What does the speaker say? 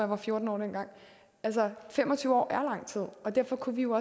var fjorten år altså fem og tyve år er lang tid og derfor kunne vi jo